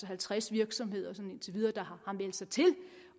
halvtreds virksomheder indtil videre der har meldt sig til